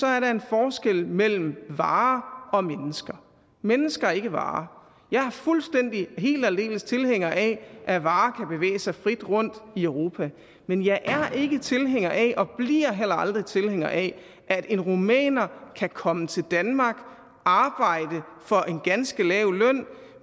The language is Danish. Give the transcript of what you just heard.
er der en forskel mellem varer og mennesker mennesker er ikke varer jeg er fuldstændig helt og aldeles tilhænger af at varer kan bevæge sig frit rundt i europa men jeg er ikke tilhænger af og bliver heller aldrig tilhænger af at en rumæner kan komme til danmark arbejde for en ganske lav løn